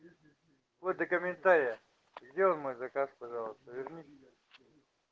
ой комментария сделал мой заказ пожалуйста вернись